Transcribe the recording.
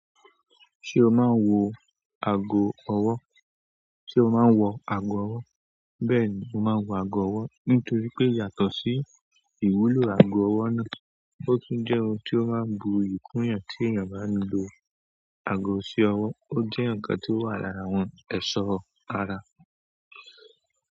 Ṣé o máa ń wọ ago ọwọ́? Bẹ́ẹ̀ ni, mo máa ń wọ ago ọwọ́. Nítorí pé yàtọ̀ sí ìwúlò ago ọwọ́ náà, ó tún jẹ́ ohun tí ó máa ń bu iyì kún iyán tí èèyàn bá ń lo ago sí ọwọ́. Ó jẹ́ ǹkan tí ó wà lára àwọn ẹ̀ṣọ́ ara.